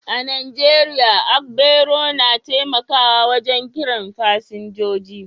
A Najeriya, agbero na taimakawa wajen kiran fasinjoji